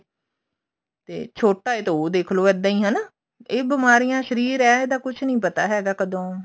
ਤੇ ਛੋਟਾ ਹੈ ਜੇ ਤਾਂ ਉਹ ਦੇਖਲੋ ਇੱਦਾਂ ਹੀ ਹਨਾ ਇਹ ਬਿਮਾਰੀਆਂ ਸ਼ਰੀਰ ਹੈ ਕੁੱਛ ਨੀ ਪਤਾ ਹੈਗਾ ਕਦੋਂ